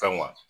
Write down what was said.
Fɛn ma